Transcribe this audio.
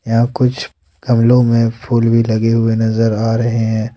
यहां कुछ गमलों में फूल भी लगे हुए नजर आ रहे हैं।